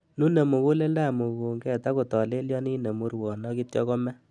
Nune mukuleldab mukunket ak kotolelionit nemurwon ak kityo komee.